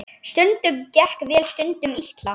Stundum gekk vel, stundum illa.